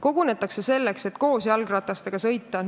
Kogunetakse selleks, et koos jalgratastega sõita.